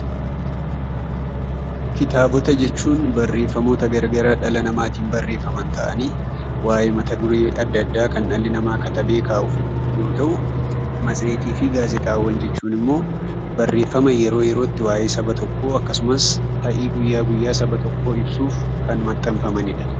Kitaabota jechuun barreeffamoota gara garaa dhala namaatiin barreeffaman ta'anii, waa'ee mata duree adda addaa kan dhalli namaa katabee kaa'u yoo ta'u; Matseetii fi gaazexaawwan jechuun immoo barreeffama yeroo yerootti waa'ee saba tokkoo akkasumas ta'ii guyyaa guyyaa saba tokkoo ibsuuf kan maxxanfamani dha.